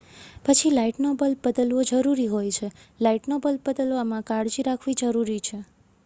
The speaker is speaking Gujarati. પછી લાઇટનો બલ્બ બદલવો જરૂરી હોય છે લાઇટનો બલ્બ બદલવામાં કાળજી રાખવી જરૂરી છે